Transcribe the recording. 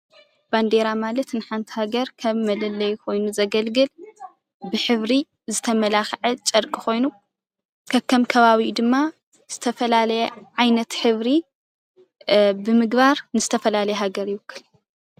ባንዴራ ማለት ንሓንቲ ሃገር ከም መለለዪ ኮይኑ ዘገልግል ብሕብሪ ዝተመላኸዐ ጨርቂ ኮይኑ ከከም ከባቢኡ ድማ ዝተፈላለየ ዓይነት ሕብሪ ብምግባር ንዝተፈላለየ ሃገር ይውክል፡፡